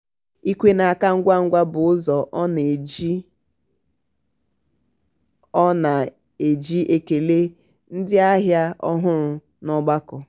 ikwe n'aka ngwa ngwa bụ ụzọ ọ na-eji ọ na-eji ekele ndị ahịa ọhụrụ n'ọgbakọ.